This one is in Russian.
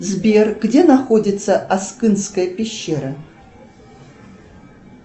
сбер где находится аскынская пещера